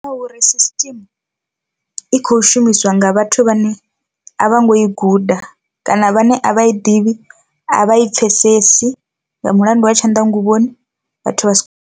Ndi nga uri system i kho shumisiwa nga vhathu vhane a vho ngo i guda kana vhane a vha ḓivhi a vha i pfhesesi nga mulandu wa tshanḓa nguvhoni vhathu vha si.